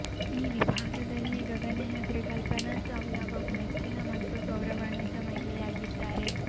ಈ ವಿಭಾಗದಲ್ಲಿ ಗಗನಯಾತ್ರಿ ಕಲ್ಪನಾ ಚಾವ್ಲಾ ಬಹು ಮೆಚ್ಚಿನ ಮತ್ತು ಗೌರವಾನ್ವಿತ ಮಹಿಳೆಯಾಗಿದ್ದಾರೆ